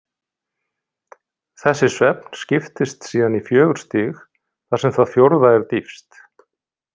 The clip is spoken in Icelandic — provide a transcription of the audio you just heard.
Þessi svefn skiptist síðan í fjögur stig, þar sem það fjórða er dýpst.